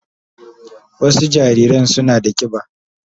Wasu jariran suna da kiba.